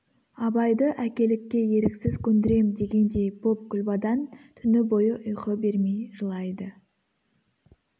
абайды әкелікке еріксіз көндірем дегендей боп күлбадан түні бойы ұйқы бермей жылайды